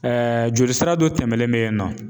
jolisira dɔ tɛmɛlen bɛyinɔ.